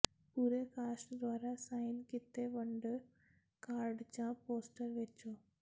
ਪੂਰੇ ਕਾਸਟ ਦੁਆਰਾ ਸਾਈਨ ਕੀਤੇ ਵਿੰਡੋ ਕਾਰਡ ਜਾਂ ਪੋਸਟਰ ਵੇਚੋ